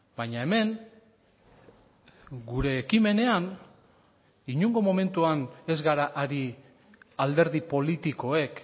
baina hemen gure ekimenean inongo momentuan ez gara ari alderdi politikoek